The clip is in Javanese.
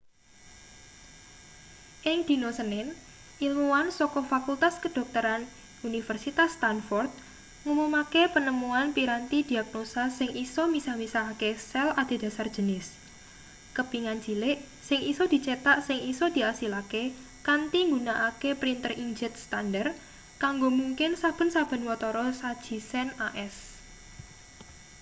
ing dina senin ilmuwan saka fakultas kedokteran universitas stanford ngumumake penemuan piranti diagnosa sing isa misah-misahake sel adhedhasar jenis kepingan cilik sing isa dicetak sing isa diasilake kanthi nggunakake printer inkjet standar kanggo mungkin saben-saben watara saji sen as